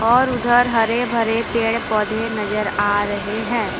और उधर हरे भरे पेड़ पौधे नजर आ रहे हैं।